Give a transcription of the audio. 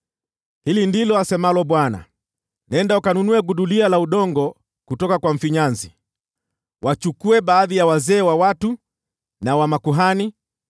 Hili ndilo asemalo Bwana : “Nenda ukanunue gudulia la udongo kutoka kwa mfinyanzi. Wachukue baadhi ya wazee wa watu na wa makuhani